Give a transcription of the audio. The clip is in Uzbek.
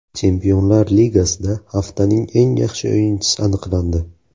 Chempionlar Ligasida haftaning eng yaxshi o‘yinchisi aniqlandi.